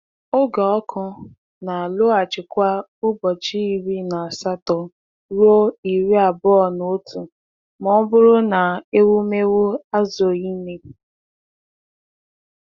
Oge ọkụ na-alọghachi kwa ụbọchị iri na asatọ ruo iri abụọ na otu ma ọ bụrụ na ewumewụ ezughị ime.